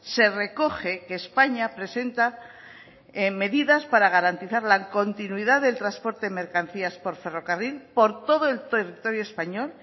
se recoge que españa presenta medidas para garantizar la continuidad del transporte de mercancías por ferrocarril por todo el territorio español